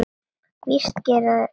Víst gera þeir það!